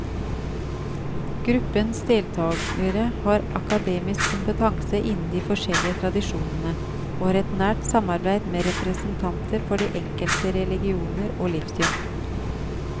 Gruppens deltagere har akademisk kompetanse innen de forskjellige tradisjonene, og har et nært samarbeid med representanter for de enkelte religioner og livssyn.